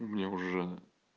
мне уже